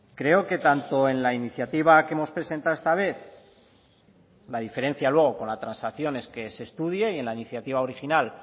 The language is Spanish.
creo que tanto en la iniciativa que hemos presentado esta vez la diferencia luego con la transacción es que se estudie y en la iniciativa original